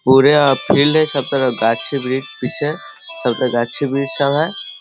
पुरे फील्ड है सब तरफ गाछ-वृक्ष पीछे सब तरफ गाछ-वृक्ष सब है।